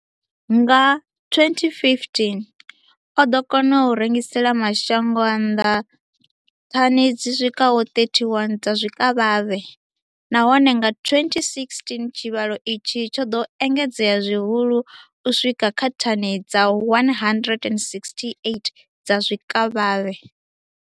Nga 2015, o ḓo kona u rengisela mashango a nnḓa thani dzi swikaho 31 dza zwikavhavhe, nahone nga 2016 tshivhalo itshi tsho ḓo engedzea zwihulwane u swika kha thani dza 168 dza zwikavhavhe.